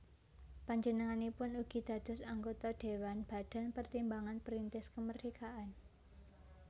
Panjenenganipun ugi dados anggota Dhéwan Badan Pertimbangan Perintis Kemerdekaan